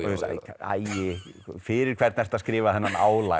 æi fyrir hvern ertu að skrifa þennan